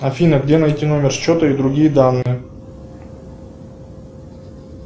афина где найти номер счета и другие данные